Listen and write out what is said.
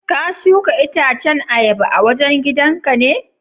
ka shuka itacen ayaba a wajen gidan ka ne?